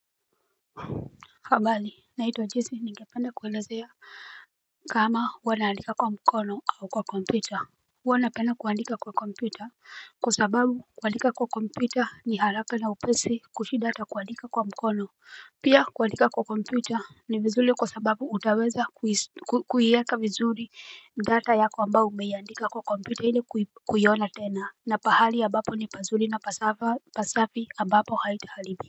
Habari naitewa jesi ningependa kuwelezea kama huwa naandika kwa mkono au kwa kompuita Huanapena kuandika kwa kompuita Kwa sababu kuandika kwa kompuita ni haraka na upesi kushidata kwaandika kwa mkono Pia kwaandika kwa kompyuta ni vizuli kwa sababu utaweza kuhieka vizuli data yako kwamba umeandika kwa kompuita hile kuyiona tena na pahali ya bapo ni pazuri na pasafi ambapo haitahalibi.